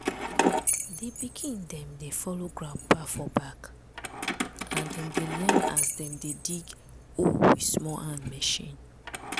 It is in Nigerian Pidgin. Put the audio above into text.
di pikin dem dey follow grandpapa for back and dem dey learn as dem dey dig hole with small hand machine.